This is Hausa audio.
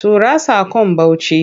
Tura saƙon Bauchi!